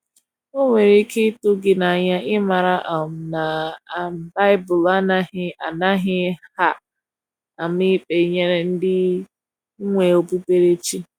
o nwere ike itu gi n'anya imara um na um bibulu anaghi anaghi um ama ikpe nyere ndi iwe okpukpere chi